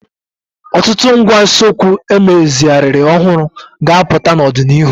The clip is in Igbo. Ọtụtụ ngwá usekwu emezigharịrị ọhụrụ ga-apụta n'ọdịnihu.